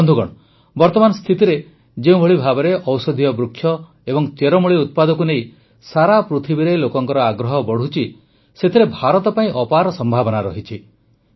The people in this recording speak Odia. ବନ୍ଧୁଗଣ ବର୍ତ୍ତମାନ ସ୍ଥିତିରେ ଯେଉଁଭଳି ଭାବେ ଔଷଧୀୟ ବୃକ୍ଷ ଓ ଚେରମୂଳି ଉତ୍ପାଦକୁ ନେଇ ସାରା ପୃଥିବୀରେ ଲୋକଙ୍କ ଆଗ୍ରହ ବଢ଼ୁଛି ସେଥିରେ ଭାରତ ପାଇଁ ଅପାର ସମ୍ଭାବନା ରହିଛି